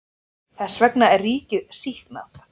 Þess vegna er ríkið sýknað.